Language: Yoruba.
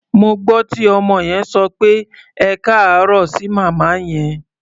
Mo gbọ́ tí ọmọ yẹn sọ pé "ẹkáàárọ̀" sí màmá yẹn.